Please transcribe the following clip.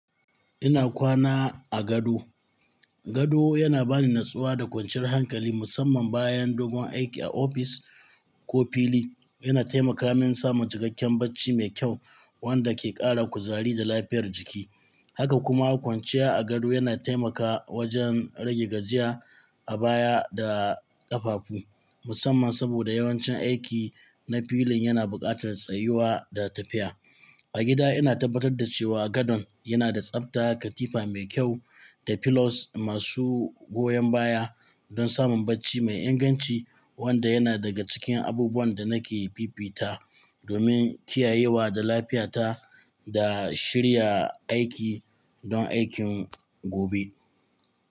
Ina kwana a gado. Gado yana bani natsuwa da kwanciyar hankali musamman bayan dogon aiki a ofis ko fili. Yana taimaka min samun cikakken bacci mai kyau wanda ke ƙara kuzari da lafiyar jiki. Haka kuma kwanciya a gado yana taimakawa wajen rage gajiya a baya da ƙafafu, musamman saboda yawancin aiki na filin yana buƙatar tsayuwa da tafiya. A gida ina tabbatar da cewa gadon yana da tsabta, katifa mai kyau, da pillows masu goyon baya don samun bacci mai inganci wanda yana daga cikin abubuwan da nake fifita domin kiyayewa da lafiyata da shirya aiki don aikin gobe.